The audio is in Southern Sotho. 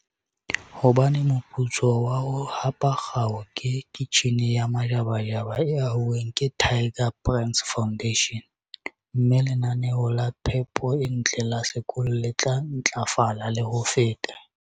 Hobane moputso wa ho hapa kgao ke kitjhine ya majabajaba e hauweng ke Tiger Brands Foundation, mme lenaneo la phepo e ntle la sekolo le tla ntlafala le ho feta.